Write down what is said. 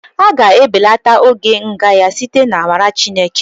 A ga-ebelata oge nga ya site n'amara Chineke